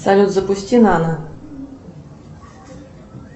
салют запусти нано